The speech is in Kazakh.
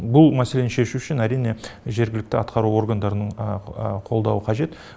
бұл мәселені шешу үшін әрине жергілікті атқару органдарының қолдауы қажет